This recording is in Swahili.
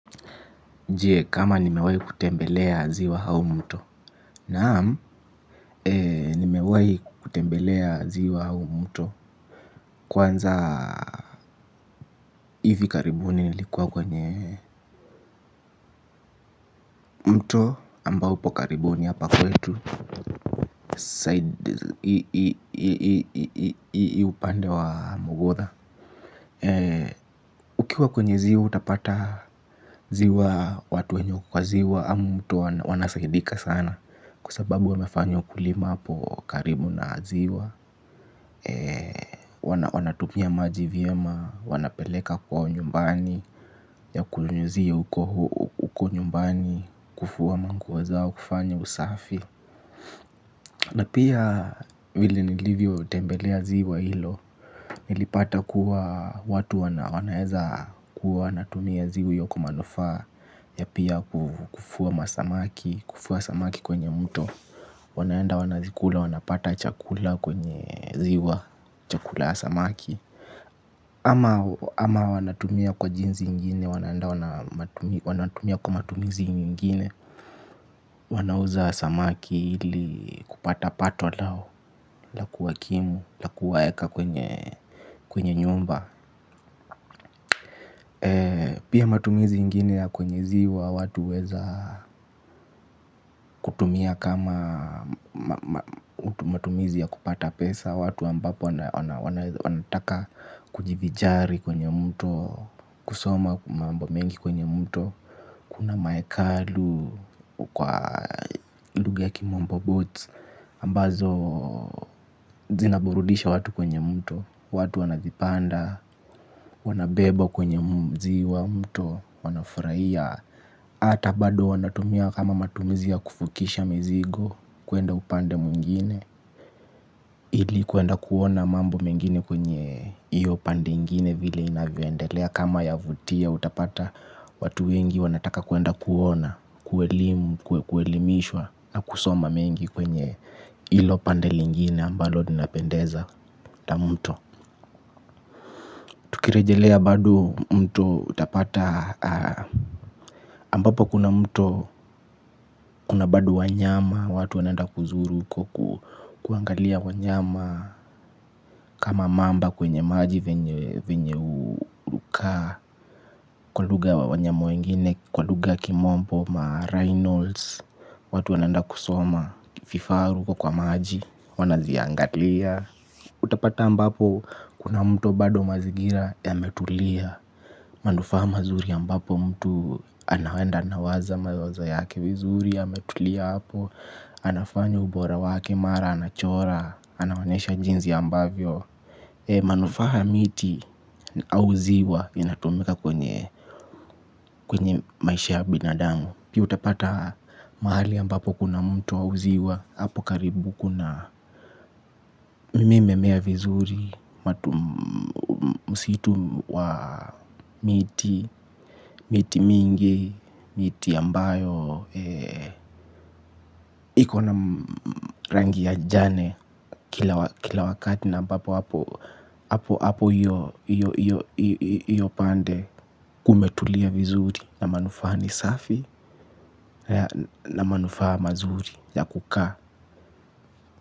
Je, kama nimewahi kutembelea ziwa au mto. Naam, nimewahi kutembelea ziwa au mto kwanza hivi karibuni nilikuwa kwenye mto ambao upo karibu ni hapa kwetu side hii upande wa mugudha. Ukiwa kwenye ziwa utapata ziwa watu wenye wako kwa ziwa au mto wanasaidika sana. Kwa sababu wamefanya ukulima hapo karibu na ziwa. Wanatumia maji vyema. Wanapeleka kwao nyumbani ya kunyunyuzia huko nyumbani kufua manguo zao, kufanya usafi. Je, kama nimewahi kutembelea ziwa au mto. Naam, nimewahi kutembelea ziwa au mto. Kwanza hivi karibuni nilikuwa kwenye wanaenda wanazikula wanapata chakula kwenye ziwa chakula ya samaki. Ama wanatumia kwa jinsi ingine wanaenda wanatumia kwa matumizi ingine. Wanauza samaki ili kupata pato lao la kuwakimu la kuwaeka kwenye nyumba. Pia matumizi yengine ya kwenye ziwa watu huweza kutumia kama matumizi ya kupata pesa watu ambapo wanataka kujivinjari kwenye mto kusoma mambo mengi kwenye mto kuna maekalu kwa lugha ya kimombo boat ambazo zinaburudisha watu kwenye mto watu wanazipanda wanabebwa kwenye mto wanafurahia hata bado wanatumia kama matumizi ya kuvukisha mizigo kwenda upande mwingine. Ili kuenda kuona mambo mengine kwenye iyo pande ingine vile inavyoendelea. Kama yavutia utapata watu wengi wanataka kuenda kuona. Kuelimishwa na kusoma mengi kwenye ilo pande lengine ambalo linapendeza hata mto. Tukirejelea bado mto utapata ambapo kuna mto kuna bado wanyama. Watu wanaenda kuzuru huko kuangalia wanyama kama mamba kwenye maji venye hukaa. Kwa lugha wanyama wengine kwa lugha ya kimombo marhinos. Watu wanaenda kusoma vifaru huko kwa maji wanaziangalia. Utapata ambapo kuna mtu bado mazingira yametulia. Manufaa mazuri ambapo mtu anaenda anawaza mawazo yake vizuri yametulia hapo. Anafanya ubora wake mara, anachora, anaonesha jinsi ambavyo manufaa ya miti au ziwa yanatumika kwenye maisha ya binadamu. Pia utapata mahali ambapo kuna mto au ziwa. Apo karibu kuna hii imemea vizuri msitu wa miti, miti mingi, miti ambayo iko na rangi ya jani kila wakati na ambapo hapo hiyo pande kumetulia vizuri na manufaa ni safi na manufaa mazuri ya kukaa.